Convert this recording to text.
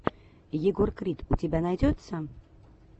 егор крид у тебя найдется